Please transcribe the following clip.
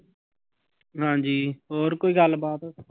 ਹਾਂਜੀ ਹੋਰ ਕੋਈ ਗੱਲਬਾਤ।